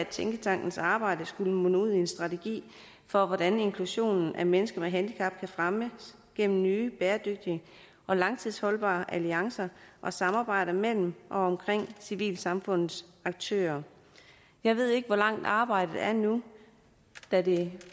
tænketankens arbejde munde ud i en strategi for hvordan inklusionen af mennesker med handicap kan fremmes gennem nye bæredygtige og langtidsholdbare alliancer og samarbejder mellem og omkring civilsamfundets aktører jeg ved ikke hvor langt arbejdet er nu da det